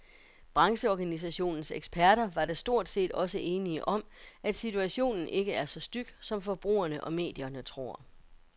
Brancheorganisationens eksperter var da stort set også enige om, at situationen ikke er så styg, som forbrugerne og medierne tror.